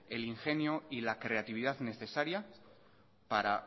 el ingenio y la creatividad necesaria para